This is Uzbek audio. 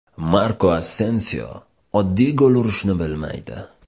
Marko Asensio oddiy gol urishni bilmaydi.